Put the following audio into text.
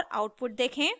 और आउटपुट देखें